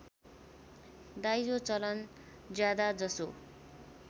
दाइजो चलन ज्यादाजसो